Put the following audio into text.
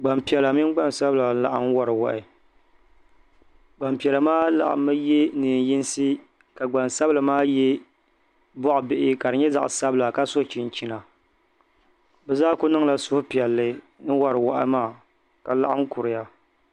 gbaŋpiɛlla mini gbaŋsabila n-laɣim wari wahi gbaŋpiɛla maa laɣimmi ye neen'yinsi ka gbaŋsabila ye bɔɣ'bihi ka di nyɛ zaɣ'sabila ka so chinchina bɛ zaa kniŋla suhupiɛlli n-wari wahi maa ka laɣim kuriya